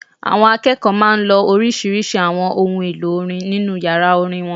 Àwọn akẹ́kọ̀ọ́ máa n lo oríṣiríṣi àwọn ohun èlò orin nínu yàrá orin wọn